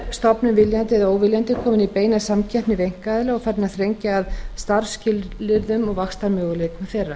stofnun viljandi eða óviljandi komin í beina samkeppni við einkaaðila og farin að þrengja að starfsskilyrðum og vaxtarmöguleikum þeirra